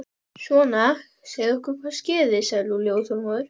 Svona, segðu okkur hvað skeði sagði Lúlli óþolinmóður.